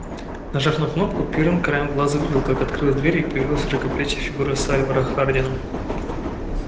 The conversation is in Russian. нажав на кнопку пиренн краем глаза увидел как открыла дверь и появилась широкоплечая фигура сальвора хардина